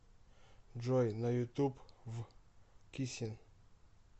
джой на ютуб в кисин